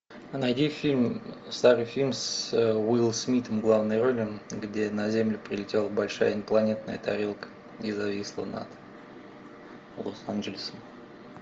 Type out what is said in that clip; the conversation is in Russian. найди фильм старый фильм с уиллом смитом в главной роли где на землю прилетела большая инопланетная тарелка и зависла над лос анджелесом